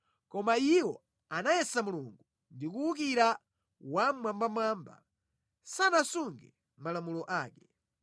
Koma iwo anayesa Mulungu ndi kuwukira Wammwambamwamba; sanasunge malamulo ake.